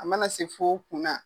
A mana se f'o kunna